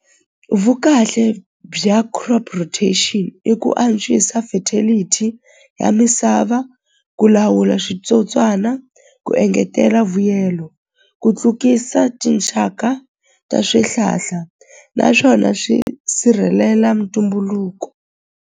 Vukahle bya crop rotation i ku antswisa fertility ya misava ku lawula switsotswana ku engetela vuyelo ku tlukisa tinxaka ta swihlahla naswona swi sirhelela mutumbuluko.